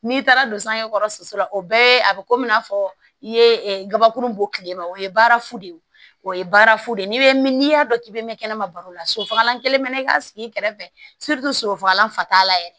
N'i taara don sange kɔrɔ suso la o bɛɛ ye a bɛ komi i n'a fɔ i ye gabakuru bɔ tile ma o ye baara fu de ye o ye baarafu de ye ni bɛ n'i y'a dɔn k'i bɛ mɛn kɛnɛma baro la sosofagalan kelen bɛ n'i ka sigi i kɛrɛfɛ soso fagalan fataa yɛrɛ